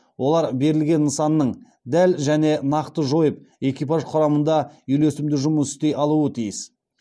олар берілген нысанның дәл және нақты жойып экипаж құрамында үйлесімді жұмыс істей алуы тиіс